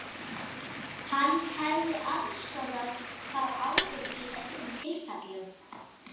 Hann hefði aðstoðað þá áður í öðrum tilfellum.